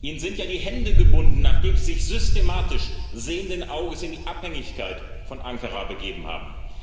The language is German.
Ihnen sind ja die Hände gebunden, nachdem Sie sich systematisch sehenden Auges in die Abhängigkeit von Ankara begeben haben.